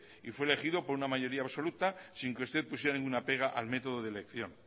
y fue elegido por una mayoría absoluta sin que usted pusiera ninguna pega al método de elección